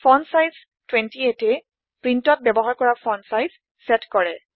font size 28এ প্ৰীন্টত ব্যৱহাৰ কৰা ফন্ট চাইজ চেট কৰে